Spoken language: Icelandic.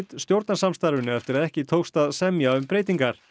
stjórnarsamstarfinu eftir að ekki tókst að semja um breytingar